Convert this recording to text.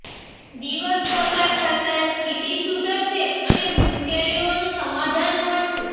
દિવસ પસાર થતા સ્થિતિ સુધરશે અને મુશ્કેલીઓનું સમાધાન મળશે